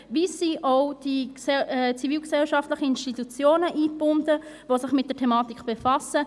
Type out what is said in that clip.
Wie sind auch die zivilgesellschaftlichen Institutionen eingebunden, die sich mit der Thematik befassen?